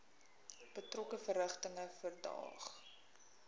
betrokke verrigtinge verdaag